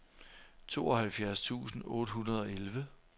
tooghalvfjerds tusind otte hundrede og elleve